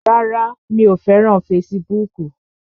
Rárá, mi ò fẹ́ràn fesibúùkù